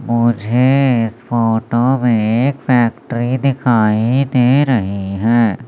मुझे इस फोटो में एक फैक्ट्री दिखाई दे रही है।